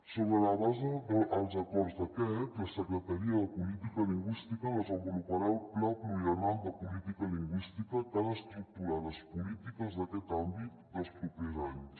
sobre la base dels acords d’aquest la secretaria de política lingüística desenvoluparà el pla pluriennal de política lingüística que ha d’estructurar les polítiques d’aquest àmbit dels propers anys